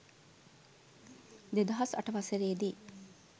දෙදහස් අට වසරේ දී